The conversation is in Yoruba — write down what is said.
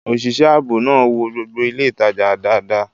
Òṣìṣẹ́ ààbò náà wo gbogbo ilé ìtajà dáadáa